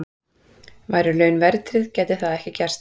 Væru laun verðtryggð gæti það ekki gerst.